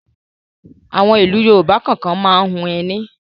Àwọn ìlú Yorùbá kọ̀ọ̀kan máa ń hun ẹní.